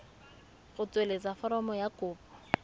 go tsweletsa foromo ya kopo